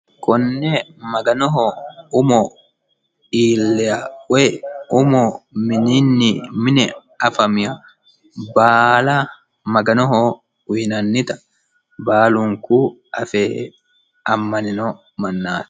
Konne maganoho umo iilliha woyi umo mininni mine afamiha baala maganoho uyiinanita baalunku afe ammanino mannaati.